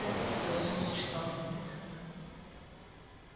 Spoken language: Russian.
хардин говорил и читал одновременно